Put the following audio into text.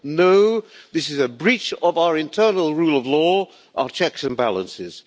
No, this is a breach of our internal rule of law, our checks and balances.